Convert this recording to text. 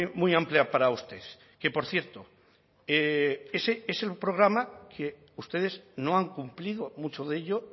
muy amplia para usted que por cierto ese es el programa que ustedes no han cumplido mucho de ello